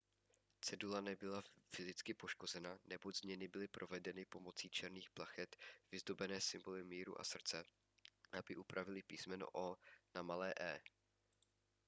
cedule nebyla fyzicky poškozena neboť změny byly provedeny pomocí černých plachet vyzdobené symboly míru a srdce aby upravily písmeno o na malé e